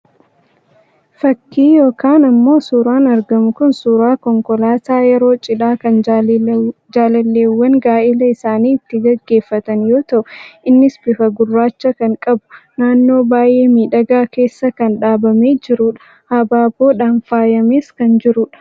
Fakii yookaan ammoo suuraan argamu Kun suuraa konkolaataa yeroo cidhaa kan jaalalleewwan gaa'ela isaanii ittiin gaggeeffatan yoo ta'u, innis bifa gurraacha kan qabu naannoo baay'ee miidhagaa keessa kan dhaabamee jirudha. Habaaboodhaan faayamees kan jirudha.